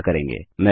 तो हम क्या करेंगे